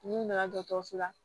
N'i nana dɔgɔtɔrɔso la